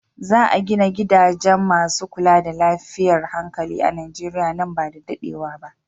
Za a gina gidaje masu kula da lafiyar hankali a Nijeriya nan ba da daɗewa ba.